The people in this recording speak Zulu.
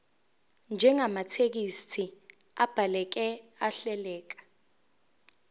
njengamathekisthi abhaleke ahleleka